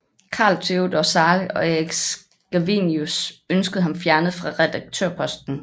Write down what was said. Carl Theodor Zahle og Erik Scavenius ønskede ham fjernet fra redaktørposten